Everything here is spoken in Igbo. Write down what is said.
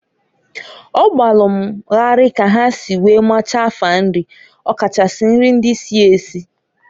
O gbalụ m gharị ka ha si wee machaa afa nrị, ọ kachasị nrị ndị si esi.